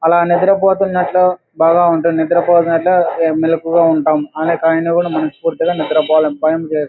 అలా నిద్ర పోతున్నట్టు బాగా ఉంటూ నిద్ర పోతున్నట్టు మెలుకువగా ఉంటాం. అయినా పోయిన కూడా మనస్ఫూర్తిగా నిద్ర పోలేం. పనులు చేస్తూ--